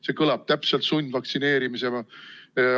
See kõlab täpselt sundvaktsineerimisena.